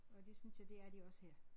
Og det synes jeg det er de også her